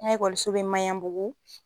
An ka ekɔliso bɛ Maɲanbugu.